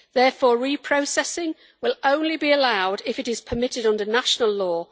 Therefore, reprocessing will only be allowed if it is permitted under national law.